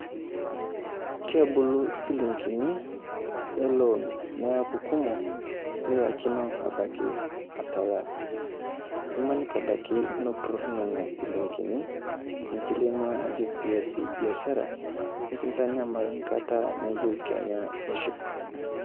Kebulu silingini e loan neaku kumok nilakino abaiki atalaa. Imaniki abaiki nepurori nena silingini nisilenuo ajo piasie biashara, ninkintanyamal nkata niyeu kenya nishuk.